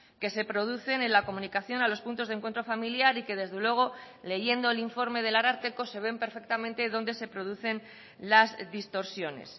que se producen en la comunicación a los puntos de encuentro familiar y que desde luego leyendo el informe del ararteko se ven perfectamente donde se producen las distorsiones